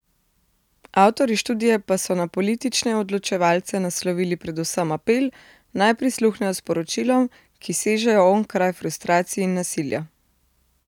Avtorji študije pa so na politične odločevalce naslovili predvsem apel, naj prisluhnejo sporočilom, ki sežejo onkraj frustracij in nasilja.